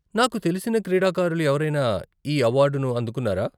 నాకు తెలిసిన క్రీడాకారులు ఎవరైనా ఈ అవార్డును అందుకున్నారా?